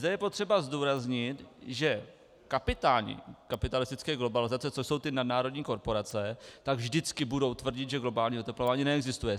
Zde je potřeba zdůraznit, že kapitáni kapitalistické globalizace, což jsou ty nadnárodní korporace, tak vždycky budou tvrdit, že globální oteplování neexistuje.